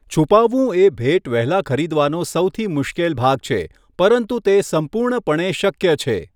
છુપાવવું એ ભેટ વહેલા ખરીદવાનો સૌથી મુશ્કેલ ભાગ છે, પરંતુ તે સંપૂર્ણપણે શક્ય છે.